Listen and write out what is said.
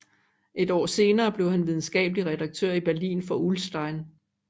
Et år senere blev han videnskabelig redaktør i Berlin for Ullstein